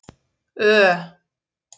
Ö